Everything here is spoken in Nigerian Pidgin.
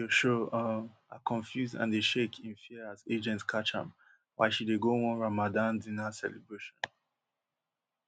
video show um her confused and dey shake in fear as agents catch am while she dey go one ramadan dinner celebration